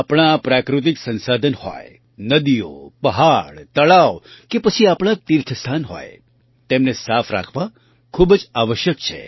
આપણાં આ પ્રાકૃતિક સંસાધન હોય નદીઓ પહાડ તળાવ કે પછી આપણાં તીર્થસ્થાન હોય તેમને સાફ રાખવાં ખૂબ જ આવશ્યક છે